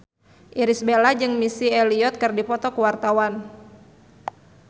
Irish Bella jeung Missy Elliott keur dipoto ku wartawan